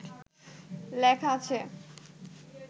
লেখা আছে